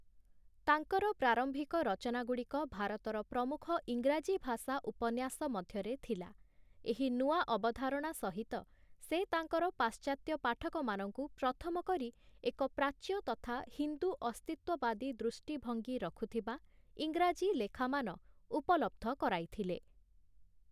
ତାଙ୍କର ପ୍ରାରମ୍ଭିକ ରଚନାଗୁଡ଼ିକ ଭାରତର ପ୍ରମୁଖ ଇଂରାଜୀ-ଭାଷା ଉପନ୍ୟାସ ମଧ୍ୟରେ ଥିଲା । ଏହି ନୂଆ ଅବଧାରଣା ସହିତ, ସେ ତାଙ୍କର ପାଶ୍ଚାତ୍ୟ ପାଠକମାନଙ୍କୁ ପ୍ରଥମ କରି ଏକ ପ୍ରାଚ୍ୟ ତଥା ହିନ୍ଦୁ ଅସ୍ତିତ୍ୱବାଦୀ ଦୃଷ୍ଚିଭଙ୍ଗୀ ରଖୁଥିବା ଇଂରାଜୀ ଲେଖାମାନ ଉପଲବ୍ଧ କରାଇଥିଲେ ।